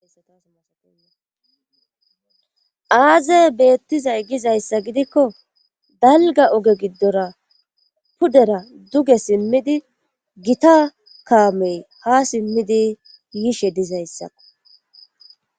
Aaze beettizay gizayssa gidikko dalga oge giddora pudera duge simmidi gita kaamey ha simmidi yiishe dizayssako